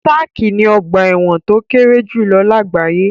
Sark ni ọ̀gba ẹ̀wọ̀n tó kéré jùlọ lágbàáyé.